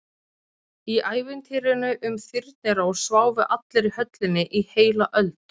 Í ævintýrinu um Þyrnirós sváfu allir í höllinni í heila öld.